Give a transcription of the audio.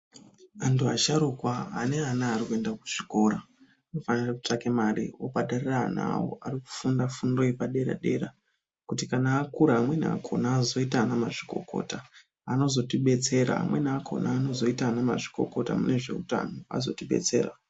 Antu asharuka ane ana ari kuenda kuzvikora ,anofanire kutsvake mare, obhadharire ana awo ,ari kufunda fundo yepadera-dera, kuti kana akura amweni akhona azoita anamazvikokota, anozotibetsera amweni akhona anozoita anamazvikokota mune zveutano, azotibetsera.